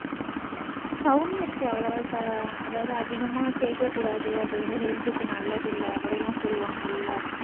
கவுனி அரிசி அவ்வளோ அஹ் அதாவது அதிகமா சேர்க்ககூடாது அது health க்கு நல்லது இல்லை அப்படிலாம் சொல்லுவாங்கல்ல